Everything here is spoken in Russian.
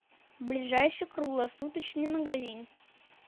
ближайший круглосуточный магазин